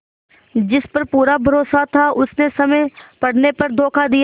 जिस पर पूरा भरोसा था उसने समय पड़ने पर धोखा दिया